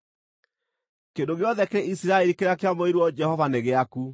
“Kĩndũ gĩothe kĩrĩ Isiraeli kĩrĩa kĩamũrĩirwo Jehova nĩ gĩaku.